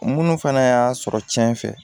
Munnu fɛnɛ y'a sɔrɔ cɛn fɛ